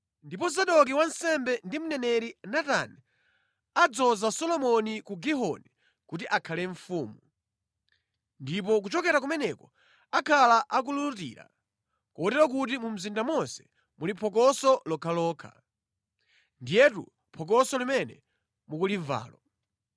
ndipo Zadoki wansembe ndi mneneri Natani adzoza Solomoni ku Gihoni kuti akhale mfumu. Ndipo kuchokera kumeneko akhala akululutira, kotero kuti mu mzinda monse muli phokoso lokhalokha. Ndiyetu phokoso limene mukulimvalo.